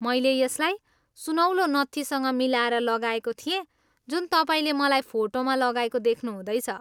मैले यसलाई सुनौलो नत्थीसँग मिलाएर लगाएको थिएँ जुन तपाईँले मलाई फोटोमा लगाएको देख्नुहुँदैछ।